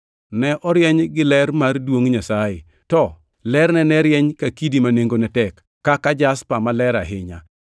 Ne orieny gi ler mar duongʼ Nyasaye, to lerne ne rieny ka kidi ma nengone tek, kaka jaspa maler ahinya.